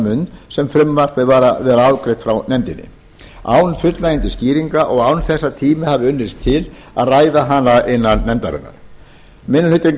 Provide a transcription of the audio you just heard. mund sem frumvarpið var afgreitt frá nefndinni án fullnægjandi skýringa og án þess að tími hafi unnist til að ræða hana innan nefndarinnar minni hlutinn